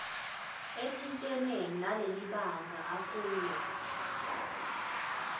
ethintene nalelibanga akulo